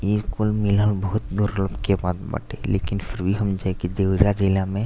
ई कुल मिलल बहुत दुर्लब के बात बाटे। लेकिन फिर भी हम जा के देवरा जिला में --